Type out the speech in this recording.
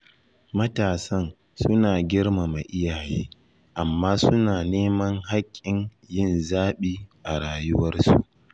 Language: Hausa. Matasan suna girmama iyaye amma suna neman hakkin yin zaɓi a rayuwarsu